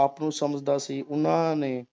ਆਪ ਨੂੰ ਸਮਝਦਾ ਸੀ ਉਹਨਾਂ ਨੇ